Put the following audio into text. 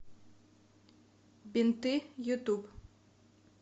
бинты ютуб